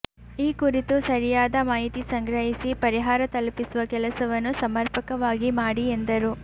ಈ ಕುರಿತು ಸರಿಯಾದ ಮಾಹಿತಿ ಸಂಗ್ರಹಿಸಿ ಪರಿಹಾರ ತಲುಪಿಸುವ ಕೆಲಸವನ್ನು ಸಮರ್ಪಕವಾಗಿ ಮಾಡಿ ಎಂದರು